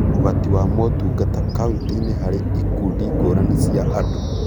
Ũgati wa motungata kauntĩ-inĩ harĩ ikundi ngũrani cia andũ